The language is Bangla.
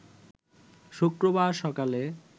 শুক্রবার সকালে